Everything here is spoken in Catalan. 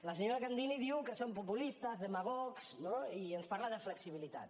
la senyora candini diu que som populistes demagogs no i ens parla de flexibilitat